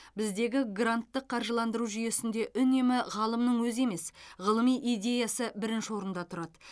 біздегі гранттық қаржыландыру жүйесінде үнемі ғалымның өзі емес ғылыми идеясы бірінші орында тұрады